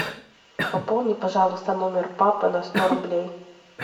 пополни пожалуйста номер папы на сто рублей